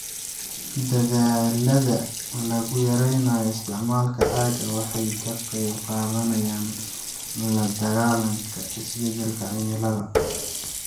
Dadaallada lagu yareynayo isticmaalka caaga waxay ka qaybqaadanayaan la dagaalanka isbeddelka cimilada.